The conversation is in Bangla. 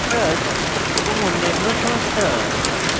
trust এবং অন্যান্য সংস্থা